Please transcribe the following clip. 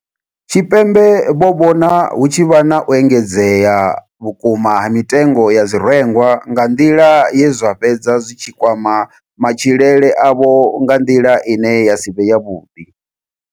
Tshipembe vho vhona hu tshi vha na u engedzea vhukuma ha mitengo ya zwirengwa nga nḓila ye zwa fhedza zwi tshi kwama matshilele avho nga nḓila ine ya si vhe yavhuḓi.